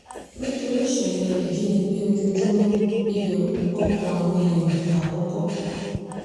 nítorí ìṣẹ̀lẹ̀ ìjínigbé ojoojúmọ́ ìbẹ̀rù gbọ́kàn àwọn èèyàn àkọ́kọ́